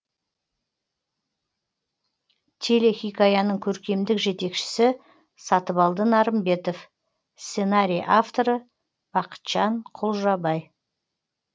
телехикаяның көркемдік жетекшісі сатыбалды нарымбетов сценарий авторы бақытжан құлжабай